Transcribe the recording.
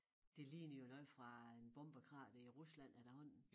Det ligner jo noget fra en bombekrater i Rusland efterhånden